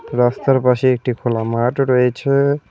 রাস্তার পাশে একটি খোলা মাঠ রয়েছে।